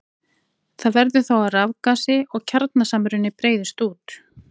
Það verður þá að rafgasi og kjarnasamruni breiðist út.